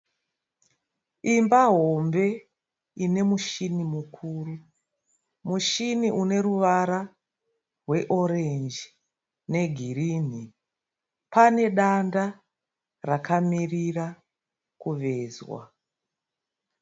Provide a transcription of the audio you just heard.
Imba hombe ine mushini mukuru. Mushini une ruvara rweorenji negirinhi. Pane danda rakamirira kuvezwa.